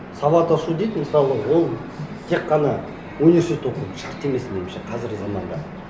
сауат ашу дейді мысалы ол тек қана университетте оқуды шарт емес меніңше қазіргі заманда